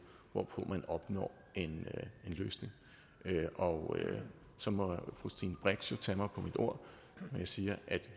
hvorpå man opnår en løsning og så må fru stine brix jo tage mig på mit ord når jeg siger at vi